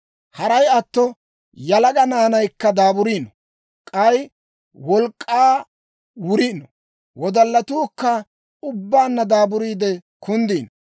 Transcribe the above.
Haray atto yalaga naanaykka daaburiino; k'ay wolk'k'aa wuriino. Wodallatuukka ubbaanna daaburiide kunddiino.